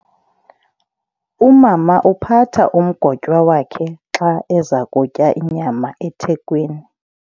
Umama uphatha umgotywa wakhe xa eza kutya inyama ethekweni.